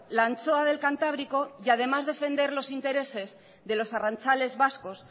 la anchoa del cantábrico y además defender los intereses de los arrantzales vascos